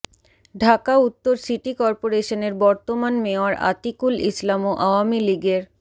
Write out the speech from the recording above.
ঢাকা উত্তর সিটি করপোরেশনের বর্তমান মেয়র আতিকুল ইসলামও আওয়ামী লীগের